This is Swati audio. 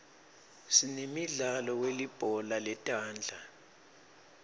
sinemidlalo welibhola letandla